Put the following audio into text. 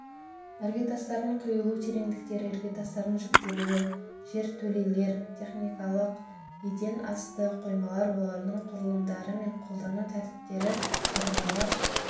іргетастардың құйылу тереңдіктері іргетастардың жіктелуі жертөлелер техникалық еден асты қоймалар олардың құрылымдары мен қолдану тәртіптері қабырғалар